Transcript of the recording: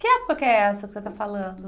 Que época que é essa que você está falando?